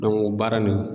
baara nin